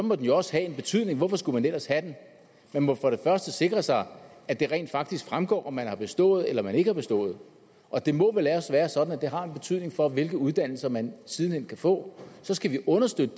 må den jo også have en betydning hvorfor skulle man ellers have den man må for det første sikre sig at det rent faktisk fremgår om man har bestået eller man ikke har bestået og det må vel også være sådan at det har en betydning for hvilken uddannelse man siden hen kan få så skal vi understøtte